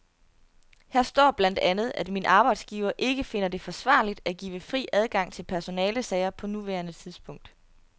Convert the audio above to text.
Her står blandt andet, at min arbejdsgiver ikke finder det forsvarligt at give fri adgang til personalesager på nuværende tidspunkt.